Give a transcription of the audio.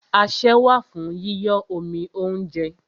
Asẹ́ wà fún yíyọ́ omi óúnjẹ.